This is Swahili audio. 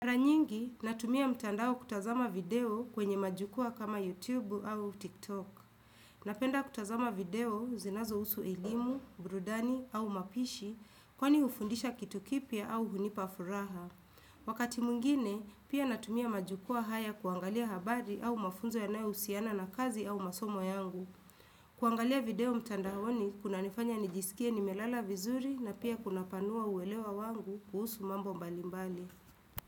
Mara nyingi, natumia mtandao kutazama video kwenye majukua kama YouTube au TikTok. Napenda kutazama video zinazohusu elimu, burudani au mapishi, kwani hufundisha kitu kipya au hunipa furaha. Wakati mwingine, pia natumia majukua haya kuangalia habari au mafunzo yanayo husiana na kazi au masomo yangu. Kuangalia video mtandao ni kunanifanya nijisikie nimelala vizuri na pia kunapanua uwelewa wangu kuhusu mambo mbalimbali.